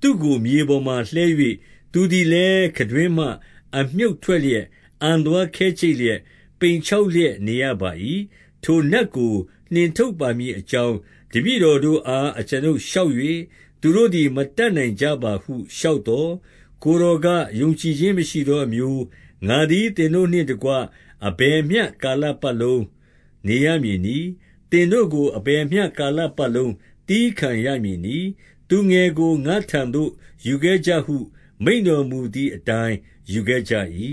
သူ့ကိုမြေပေါ်မှာ လှဲ၍၊ သူသည်လည်း ခံတွင်းမှ အမြှုတ်ထွက်လျက်၊ အံသွားခဲကြိတ်လျက်၊ ပိန်ခြောက်လျက်နေရပါ၏။ ထိုနတ်ကို နှင်ထုတ်ပါမည်အကြောင်း တပည့်တော်တို့အား အကျွန်ုပ်လျှောက်၍ သူတို့သည် မတတ်နိုင်ကြပါဟု လျှောက်သော်၊ 19 ကိုယ်တော်က၊ ယုံကြည်ခြင်းမရှိသောအမျိုး၊ ငါသည် သင်တို့နှင့်တကွ အဘယ်မျှကာလပတ်လုံးနေရ မည်နည်း။ သင်တို့ကို အဘယ်မျှကာလပတ်လုံး သည်းခံရမည်နည်း။ သူငယ်ကို ငါ့ထံသို့ယူခဲ့ကြဟု မိန့်တော်မူ သည်အတိုင်း၊ 20 ယူခဲ့ကြ၏။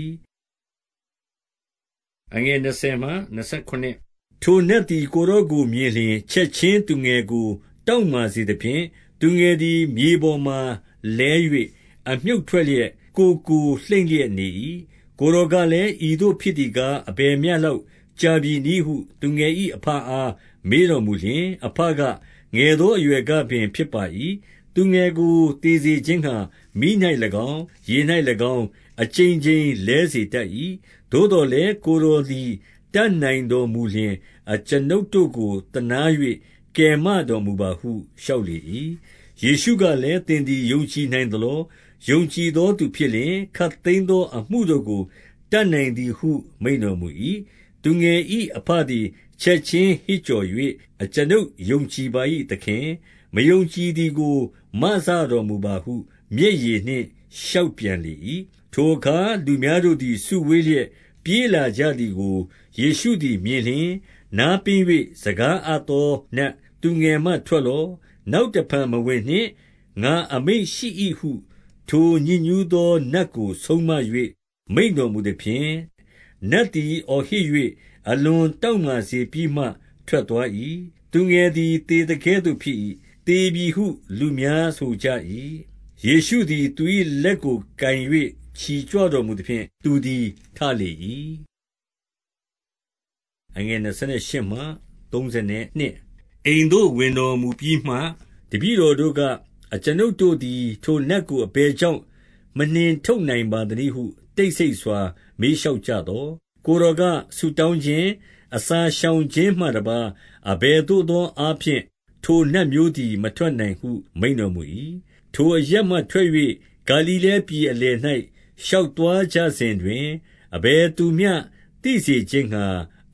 ထိုနတ်သည် ကိုယ်တော်ကိုမြင်လျှင် ချက်ခြင်းသူငယ်ကို တောင့်မာစေသဖြင့် သူငယ်သည် မြေပေါ်မှာလဲ၍ အမြှုတ်ထွက်လျက် ကိုယ်ကို လှိမ့်လျက်နေ၏။ 21 ကိုယ်တော်ကလည်း၊ ဤသို့ဖြစ်သည်ကား၊ အဘယ်မျှလောက် ကြာပြီနည်းဟု သူငယ်၏အဘအား မေးတော်မူလျှင်၊ အဘက၊ ငယ်သော အရွယ်ကပင် ဖြစ်ပါ၏။ 22 သူငယ်ကို သေစေခြင်းငှါ မီး၌၎င်း၊ ရေ၌၎င်း အကြိမ်ကြိမ်လဲစေတတ်၏။ သို့သော်လည်း ကိုယ်တော် သည် တတ်နိုင်တော်မူလျှင် အကျွန်ုပ်တို့ကို သနား၍ကယ်တော်မူပါဟု လျှောက်လေ၏။ 23 ယေရှုကလည်း၊ သင်သည် ယုံကြည်နိုင်သလော။ ယုံကြည်သောသူဖြစ်လျှင် ခပ်သိမ်းသောအမှုတို့ကို တတ်နိုင်သည်ဟု မိန့်တော်မူ၏။ 24 သူငယ်၏အဘသည် ချက်ခြင်းဟစ်ကြော်၍ အကျွန်ုပ်ယုံကြည်ပါ၏သခင်။ မယုံကြည်သည်ကို မစ တော်မူပါဟု မျက်ရည်နှင့် လျှောက်ပြန်လေ၏။ 25 ထိုအခါ လူများတို့သည် စုဝေးလျက် ပြေးလာကြသည်ကို ယေရှုသည်မြင်လျှင်၊ နားပင်း၍ စကား အ သောနတ်၊ သူငယ်မှထွက်လော့၊ နောက်တဖန်မဝင်နှင့် ငါအမိန့်ရှိ၏ဟု ထိုညစ်ညူးသောနတ်ကို ဆုံးမ၍ မိန့် တော်မူသဖြင့်၊ 26 နတ်သည် အော်ဟစ်၍ အလွန်တောင့်မာစေပြီးမှ ထွက်သွား၏။ သူငယ်သည် သေသကဲ့သို့ဖြစ်၏။ သေပြီဟု လူများဆိုကြ၏။ 27 ယေရှုသည် သူ၏လက်ကိုကိုင်၍ ချီကြွတော်မူသဖြင့် သူသည်ထလေ၏။ 28 အိမ်သို့ ဝင်တော်မူပြီးမှ တပည့်တော်တို့က၊ အကျွန်ုပ်တို့သည် ထိုနတ်ကို အဘယ်ကြောင့် မနှင်ထုတ် နိုင်ပါသနည်းဟု တိတ်ဆိတ်စွာမေးလျှောက်ကြသော်၊ 29 ကိုယ်တော်က၊ ဆုတောင်းခြင်း၊ အစာရှောင်ခြင်းမှတပါး အဘယ်သို့သောအားဖြင့် ထိုနတ်မျိုးသည် မ ထွက်နိုင်ဟု မိန့်တော်မူ၏။ 30 ထိုအရပ်မှထွက်၍ ဂါလိလဲပြည်အလယ်၌ ရှောက်သွားကြစဉ်တွင် အဘယ်သူမျှ သိစေခြင်းငှါ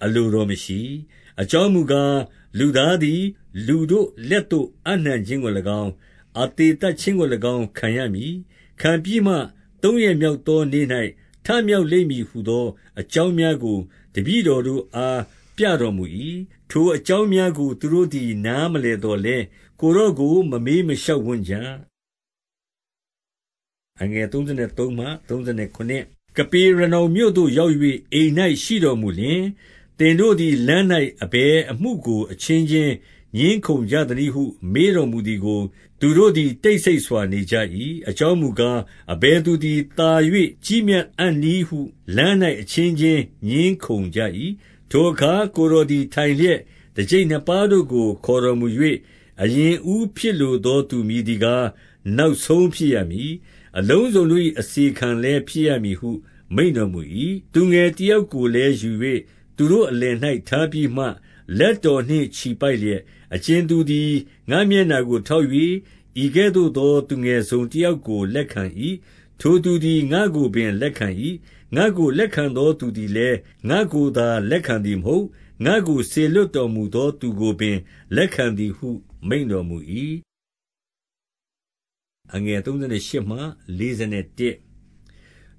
အလို တော်မရှိ။ 31 အကြောင်းမူကား၊ လူသားသည် လူတို့လက်သို့ အပ်နှံခြင်းကို၎င်း၊ အသေသတ်ခြင်းကို၎င်း ခံရမည်။ 32 ခံပြီးမှသုံးရက်မြောက်သောနေ့၌ ထမြောက်လိမ့်မည်ဟူသော အကြောင်းများကို တပည့်တော်တို့အား ပြတော်မူ၏။ ထိုအကြောင်းများကို သူတို့သည် နားမလည်သော်လည်း၊ ကိုယ်တော်ကို မမေးမလျှောက်ဝံ့ကြ။ 33 ကပေရနောင်မြို့သို့ ရောက်၍ အိမ်၌ရှိတော်မူလျှင်၊ သင်တို့သည် လမ်း၌အဘယ်အမှုကို အချင်းချင်း ငြင်းခုံကြသနည်းဟု မေးတော်မူသည်ကို၊ 34 သူတို့သည် တိတ်ဆိတ်စွာနေကြ၏။ အကြောင်းမူကား၊ အဘယ်သူသည်သာ၍ ကြီးမြတ်အံ့နည်းဟု လမ်း၌ အချင်းချင်းငြင်းခုံကြ၏။ 35 ထိုအခါကိုယ်တော်သည် ထိုင်လျက် တကျိပ်နှစ်ပါးတို့ခေါ်တော်မူ၍၊ အရင်အဦးဖြစ်လိုသောသူ မည် သည်ကား နောက်ဆုံးဖြစ်ရမည်။ အလုံစုံတို့၏ အစေခံလည်းဖြစ်ရမည်ဟု မိန့်တော်မူ၏။ 36 သူငယ်တယောက်ကိုလည်းယူ၍ သူတို့ အလယ်၌ထားပြီးမှ လက်တော်နှင့်ချီပိုက်လျက်၊ 37 အကြင်သူသည် ငါ့မျက်နှာကိုထောက်၍ ဤကဲ့သို့သော သူငယ်တစုံတယောက်ကိုလက်ခံ၏။ ထိုသူ သည် ငါ့ကိုပင်လက်ခံ၏။ ငါ့ကိုလက်ခံသောသူသည်လည်း ငါကိုသာလက်ခံသည်မဟုတ်။ ငါ့ကိုစေလွှတ် တော် မူသောသူကိုပင် လက်ခံသည်ဟု မိန့်တော်မူ၏။ 38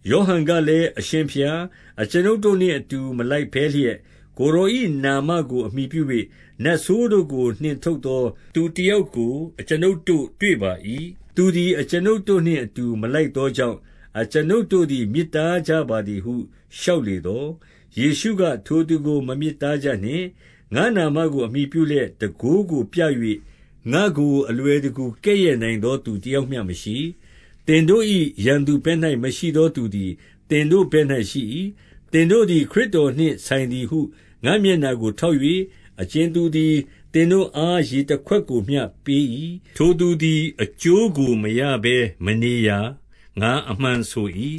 ယောဟန်ကလည်း၊ အရှင်ဘုရား၊ အကျွန်ုပ်တို့နှင့်အတူ မလိုက်ဘဲလျက် ကိုယ်တော်၏နာမကို အမှီပြု ၍ နတ်ဆိုးတို့ကိုနှင်ထုတ်သောသူတယောက်ကို အကျွန်ုပ်တို့တွေ့ပါ၏။ သူသည်အကျွန်ုပ်တို့နှင့် အတူမလိုက် သောကြောင့် အကျွန်ုပ်တို့သည် မြစ်တားကြပါသည်ဟု လျှောက်လေသော်၊ 39 ယေရှုက၊ ထိုသူကိုမမြစ်တားကြနှင့်။ ငါ့နာမကို အမှီပြုလျက် တန်ခိုးကိုပြ၍ ငါ့ကိုအလွယ်တကူ ကဲ့ရဲ့နိုင်သောသူတယောက်မျှမရှိ။ 40 သင်တို့၏ရန်သူဘက်၌မရှိသောသူသည် သင်တို့ ဘက်၌ရှိ၏။ 41 သင်တို့သည်ခရစ်တော်နှင့် ဆိုင်သည်ဟု ငါ့မျက်နှာကိုထောက်၍ အကြင်သူသည် သင်တို့အား ရေ တခွက်ကိုမျှပေး၏။ ထိုသူသည် အကျိုးကို မရဘဲနေရာ၊ ငါအမှန်ဆို၏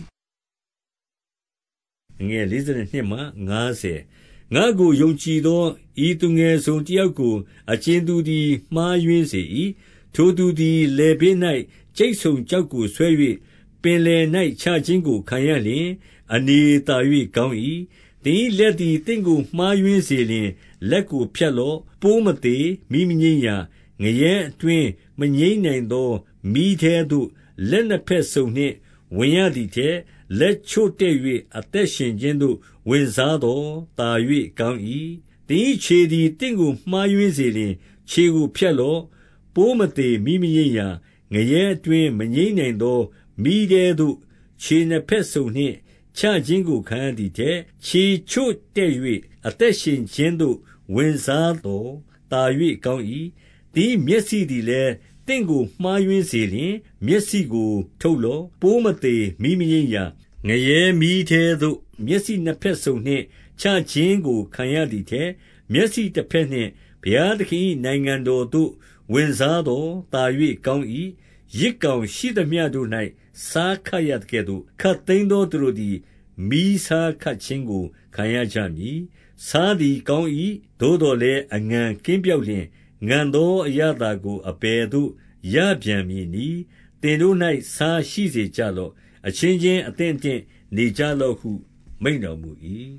။ 42 ငါ့ကိုယုံကြည်သော ဤသူငယ်တစုံတယောက်ကို အကြင်သူသည် မှားယွင်းစေ၏။ ထိုသူသည် လည် ပင်း၌ ကြိတ်ဆုံကျောက်ကိုဆွဲ၍ ပင်လယ်၌ချခြင်းကိုခံရလျှင် အနေသာ၍ကောင်း၏။ 43 သင်၏လက်သည်သင့်ကိုမှားယွင်းစေလျှင် လက်ကိုဖြတ်လော့။ 44 ပိုးမသေ၊ မီးမငြိမ်းရာ၊ ငရဲအတွင်းမငြိမ်းနိုင်သော မီးထဲသို့လက်နှစ်ဘက်စုံနှင့် ဝင်ရသည်ထက်၊ လက် ချို့တဲ့၍ အသက်ရှင်ခြင်းသို့ဝင်စားသော် သာ၍ကောင်း၏။ 45 သင်၏ခြေသည် သင့်ကိုမှားယွင်းစေလျှင် ခြေကိုဖြတ်လော့။ 46 ပိုးမသေ၊ မီးမငြိမ်းရာ၊ ငရဲအတွင်း မငြိမ်းနိုင်သောမီးထဲသို့ ခြေနှစ်ဘက်စုံနှင့်ချခြင်းကို ခံရသည်ထက်၊ ခြေချို့တဲ့၍ အသက်ရှင်ခြင်းသို့ ဝင်စားသော် သာ၍ကောင်း၏။ 47 သင်၏မျက်စိသည်လည်း သင့်ကိုမှားယွင်းစေလျှင် မျက်စိကိုထုတ်လော့။ 48 ပိုးမသေ၊ မီးမငြိမ်းရာ၊ ငရဲမီးထဲသို့ မျက်စိနှစ်ဘက်စုံနှင့်ချခြင်းကို ခံရသည်ထက်၊ မျက်စိတဘက်နှင့် ဘုရားသခင်၏နိုင်ငံတော်သို့ ဝင်စားသော် သာ၍ကောင်း၏။ 49 ယဇ်ယောင်ရှိသမျှတို့၌ ဆားခတ်ရသကဲ့သို့ ခပ်သိမ်းသောသူတို့သည် မီးဆားခတ်ခြင်းကို ခံရကြမည်။ 50 ဆားသည်ကောင်း၏သို့သော်လည်း အငန်ကင်းပျောက်လျှင်၊ ငန်သောအရသာကို အဘယ်သို့ ရပြန် မည်နည်း။ သင်တို့၌ဆားရှိစေကြလော့။ အချင်းချင်း အသင့်အတင့်နေကြလော့ဟု မိန့်တော်မူ၏။